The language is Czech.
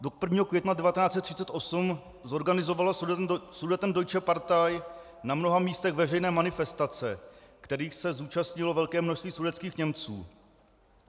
Do 1. května 1938 zorganizovala Sudetendeutsche Partei na mnoha místech veřejné manifestace, kterých se zúčastnilo velké množství sudetských Němců.